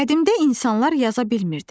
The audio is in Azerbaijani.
Qədimdə insanlar yaza bilmirdilər.